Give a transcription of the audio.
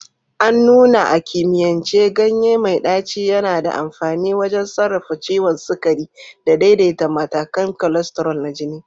An nuna a kimiyyance ganye mai ɗaci yana da amfani wajen sarrafa ciwon sukari da daidaita matakan cholesterol na jini.